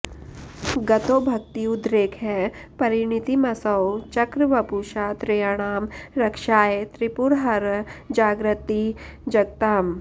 गतो भक्त्युद्रेकः परिणतिमसौ चक्रवपुषा त्रयाणां रक्षायै त्रिपुरहर जागर्त्ति जगताम्